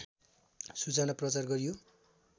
सूचना प्रचार गरियो